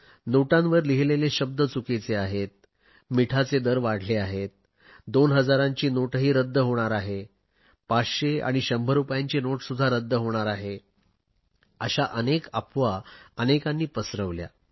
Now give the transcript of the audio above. नोटांवर लिहिलेले शब्द चुकीचे आहेत मिठाचे दर वाढले आहेत दोन हजारांची नोटही रद्द होणार आहे 500 आणि 100 रुपयांची नोटसुध्दा रद्द होणार आहे अशा अनेक अफवा अनेकांनी पसरवल्या